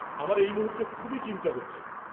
আমার এই মুহূর্তে খুবই চিন্তা হচ্ছে।